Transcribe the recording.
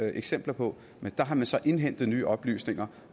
eksempler på men der har man så indhentet nye oplysninger